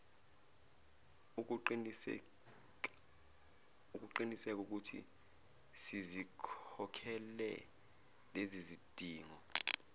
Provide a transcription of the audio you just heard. ukuqinisekaukuthi sizikhokhele lezizidingo